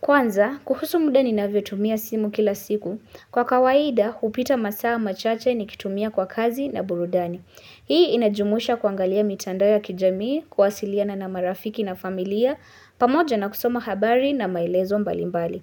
Kwanza, kuhusu muda ninavyotumia simu kila siku. Kwa kawaida, hupita masaa machache nikitumia kwa kazi na burudani. Hii inajumuisha kuangalia mitandao ya kijamii, kuwasiliana na marafiki na familia, pamoja na kusoma habari na maelezo mbalimbali.